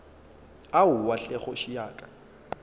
aowa hle kgoši ya ka